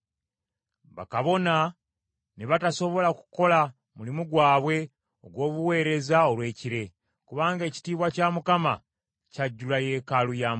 Bakabona ne batasobola kukola mulimu gwabwe ogw’obuweereza olw’ekire, kubanga ekitiibwa kya Mukama kyajjula yeekaalu ya Mukama .